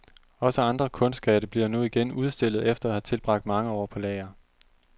Også andre kunstskatte bliver nu igen udstillet efter at have tilbragt mange år på lager.